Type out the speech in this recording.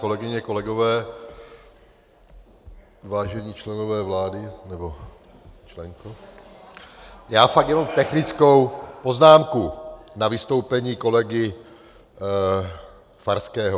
Kolegyně, kolegové, vážení členové vlády, nebo členko , já fakt jenom technickou poznámku na vystoupení kolegy Farského.